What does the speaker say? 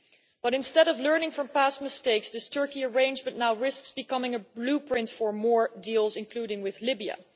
But instead of learning from past mistakes, this Turkey arrangement now risks becoming a blueprint for more deals, including with Libya.